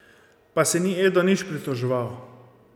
Pa se ni Edo nič pritoževal.